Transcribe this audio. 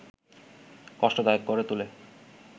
কষ্টদায়ক করে তোলে